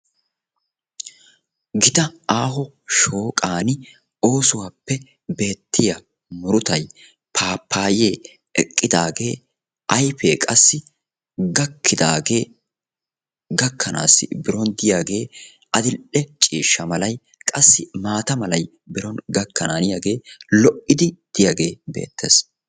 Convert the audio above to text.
gita aaho shooqan oosuwappe beettiya murutay pappaye eqqidaage shooqan eqqidaage ayppe qassi gikkidaaage gakanaassi biron diyaage adl"e ciishsha malay qassi maata malay biron diyaage beettees.